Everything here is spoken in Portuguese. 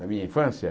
Na minha infância?